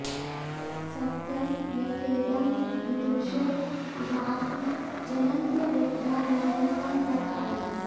सत्यं यथेदं विदुषो विभाति जनन्त्यबुद्धा न हि तं प्रकारम्